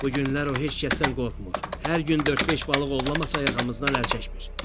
Bu günlər o heç kəsdən qorxmur, hər gün dörd-beş balıq ovlamasa yaxamızdan əl çəkmir.